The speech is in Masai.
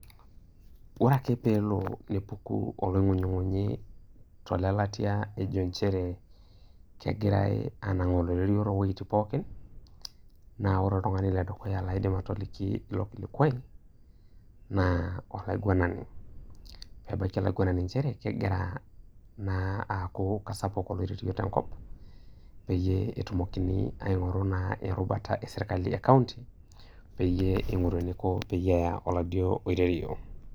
Ore ake peepuku olong'unying'unyi tolelatia nchere kegirae anang'aa oloirerio towuejitin pookin, naa ore oltung'ani le dukuya laidim atoliki ilo kilikwai naa olaiguanani, aitabaiki olaiguanani nchere, kegira naa aaku kesapuk oloirerio tenkop peyie etumokini naa aing'oru erubata esirkali e county peyie ing'oru eniko pe eya oladuo oirerio.